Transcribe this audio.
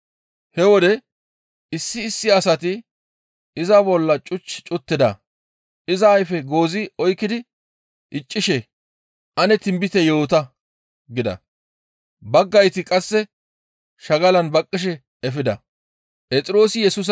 He wode issi issi asati iza bolla cuch cuttida; iza ayfe goozi oykkidi iccishe, «Ane tinbite yoota» gida. Baggayti qasse shagalan baqqishe efida.